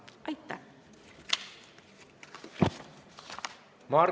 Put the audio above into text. Aitäh!